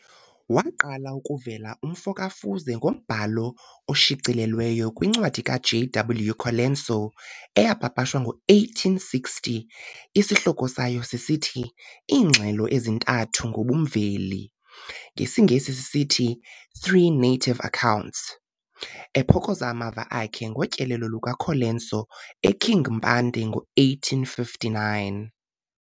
Waqala ukuvela umfo ka-Fuze ngombhalo oshicilelweyo kwincwadi ka JW Colenso eyapapashwa ngo-1860, esihloko sayo sithi, Iingxelo ezintathu ngobumveli, ngesiNgesi sithi, Three Native accounts, 1860, ephokoza amava akhe ngotyelelo lukaColenso eKing Mpande ngo-1859.